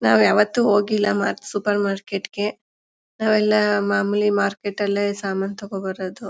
ನಾವ್ ಯಾವತ್ತೂ ಹೋಗಿಲ್ಲ ಮಾರ್ ಸೂಪರ್ ಮಾರ್ಕೆಟ್ ಗೆ. ನಾವೇಲ್ಲಾ ಮಾಮೂಲಿ ಮಾರ್ಕೆಟ್ ಅಲ್ಲೆ ಸಾಮಾನ್ ತಗೋಬರೋದು.